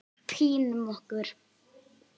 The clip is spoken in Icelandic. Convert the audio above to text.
Pínum okkur.